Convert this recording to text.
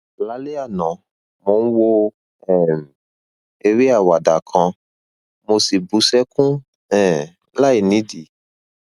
lálẹ àná mo ń wo um eré àwàdà kan mo sì bú sẹkún um láìnídìí